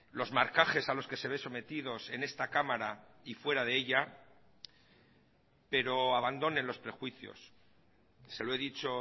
los marcajes a los que se ve sometidos en esta cámara y fuera de ella pero abandonen los prejuicios se lo he dicho